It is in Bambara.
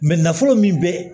nafolo min bɛ